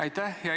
Aitäh!